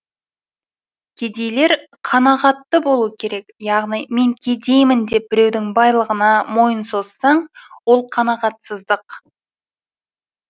кедейлер қанағатты болу керек яғни мен кедеймін деп біреудің байлығына мойын созсаң ол қанағатсыздық